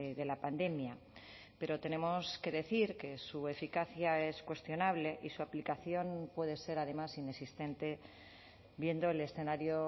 de la pandemia pero tenemos que decir que su eficacia es cuestionable y su aplicación puede ser además inexistente viendo el escenario